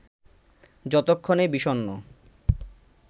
যতক্ষণে বিষণ্ণ